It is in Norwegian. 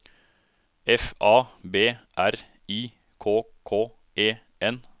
F A B R I K K E N